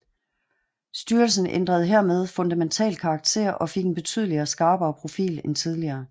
Styrelsen ændrede hermed fundamentalt karakter og fik en betydeligt skarpere profil end tidligere